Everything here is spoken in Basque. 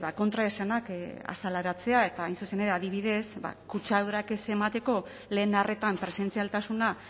kontraesanak azaleratzea eta hain zuzen ere adibidez kutsadurak ez emateko lehen arretan presentzialtasuna